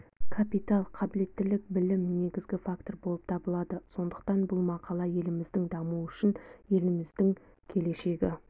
капитал қабілеттілік білім негізгі фактор болып табылады сондықтан бұл мақала еліміздің дамуы үшін еліміздің келешегі